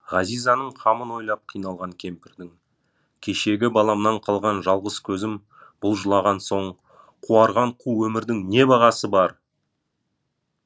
ғазизаның қамын ойлап қиналған кемпірдің кешегі баламнан қалған жалғыз көзім бұл жылаған соң қуарған қу өмірдің не бағасы бар